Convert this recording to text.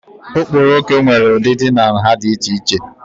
Okporoko nwere ụdịdị na nha dị iche iche.